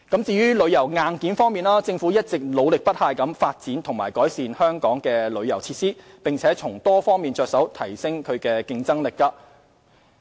至於旅遊硬件方面，政府一直努力不懈發展和改善香港旅遊設施，並從多方面着手提升競爭力。